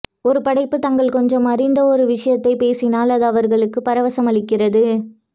ஒரு படைப்பு தாங்கள் கொஞ்சம் அறிந்த ஒரு விஷயத்தை பேசினால் அது அவர்களுக்குப் பரவசம் அளிக்கிறது